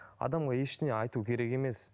адамға ештеңе айту керек емес